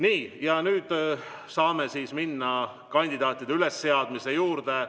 Nii, ja nüüd saame minna kandidaatide ülesseadmise juurde.